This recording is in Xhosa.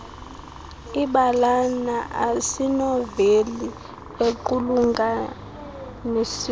ibalana asinoveli equlunganisiweyo